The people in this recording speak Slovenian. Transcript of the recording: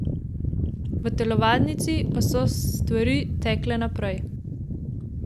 V telovadnici pa so stvari tekle naprej.